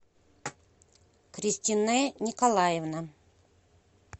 кристинэ николаевна